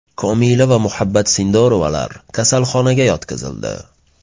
Komila va Muhabbat Sindorovalar kasalxonaga yotqizildi.